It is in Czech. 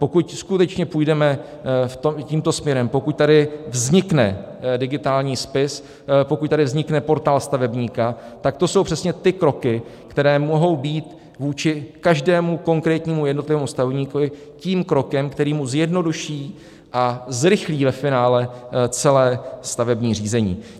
Pokud skutečně půjdeme tímto směrem, pokud tady vznikne digitální spis, pokud tady vznikne portál stavebníka, tak to jsou přesně ty kroky, které mohou být vůči každému konkrétnímu jednotlivému stavebníkovi tím krokem, který mu zjednoduší a zrychlí ve finále celé stavební řízení.